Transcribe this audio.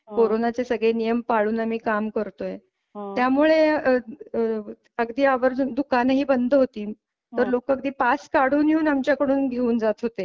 कोरोनाचे सगळे नियम पाळून आम्ही काम करतोय त्यामुळे अहं आह अगदी आवर्जून दुकाने ही बंद होती तर लोक अगदी पास काढून आमच्याकडून घेऊन जात होते.